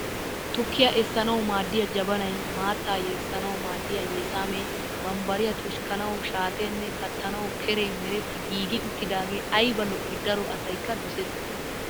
Tukkiyaa essanawu maadiyaa jabanayi, maattaa yeessanawu maaddiyaa yesaamee, bambbariyaa tushanawu shaateenne kattanawu keree meretti giigi uttidaage ayiba lo'i. daro asyikka doses.